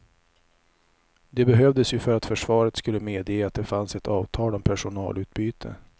Det behövdes ju för att försvaret skulle medge att det fanns ett avtal om personalutbyte.